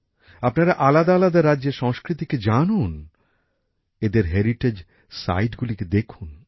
আপনারা আলাদা আলাদা রাজ্যের সংস্কৃতিকে জানুন এদের ঐতিহ্যশালী স্থানগুলিকে দেখুন